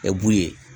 ye